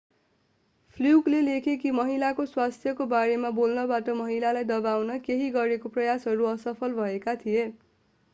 फ्लुकले लेखे कि महिलाको स्वास्थ्यको बारेमा बोल्नबाट महिलालाई दबाउन केहीले गरेका प्रयासहरू असफल भएका थिए